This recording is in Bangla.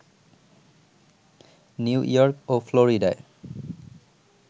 নিউ ইয়র্ক ও ফ্লোরিডায়